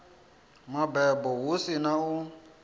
mabebo hu si na u